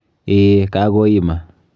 Eeh, kakoima.